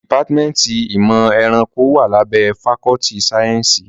Dìpátímẹ́ntì ìmọ̀ ẹranko wá lábẹ́ fakọ́ltì sáyẹ́nsì.